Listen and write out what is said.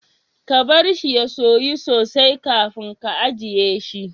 Ka bar shi ya soya sosai kafin ka ajiye shi.